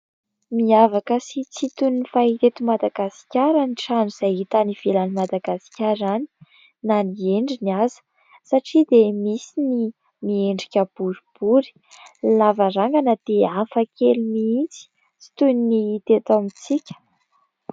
Miavaka sy tsy toy ny fahita eto Madagasikara ny trano izay hita any ivelan'i Madagasikara any, na ny endriny aza. Satria dia misy ny miendrika boribory, ny lavarangana dia hafa kely mihitsy, tsy toy ny hita eto amintsika.